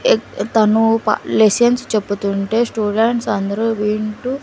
తను ప లెసన్స్ చెపుతుంటే స్టూడెంట్స్ అందరూ వింటూ--